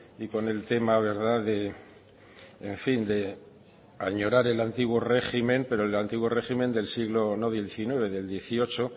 y con el tema verdad de en fin añorar el antiguo régimen pero el antiguo régimen del siglo no del diecinueve sino del dieciocho